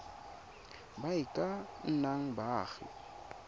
ba e ka nnang baagi